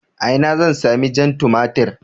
A ina zan sami jan tumatir?